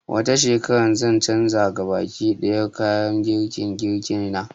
Wata shekarar zan canza gabaki ɗaya kayan girke-girke na